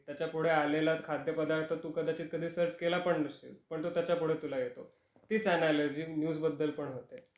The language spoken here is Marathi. त्याच्या पुढे आलेला खाद्य पदार्थ तू कदाचित कधी सर्च केला पण नसशील, पण तो त्याच्या पुढे तुला येतो. तीच अनालॉजी न्यूजबद्दल पण होते.